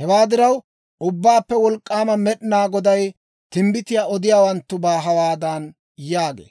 Hewaa diraw, Ubbaappe Wolk'k'aama Med'inaa Goday timbbitiyaa odiyaawanttubaa hawaadan yaagee;